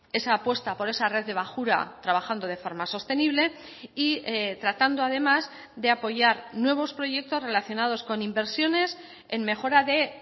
esa apuesta por esa red de bajura trabajando de forma sostenible y tratando además de apoyar nuevos proyectos relacionados con inversiones en mejora de